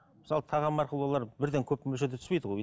мысалы тағам арқылы олар бірден көп мөлшерде түспейді ғой